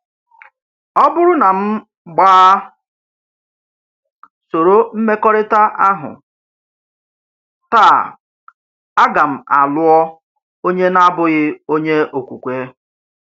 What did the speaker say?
Ọ̀ bụrụ́ na m gba sòrò mmekọrịta ahụ, taa ága m alụọ onye na-abụghị onye okwukwe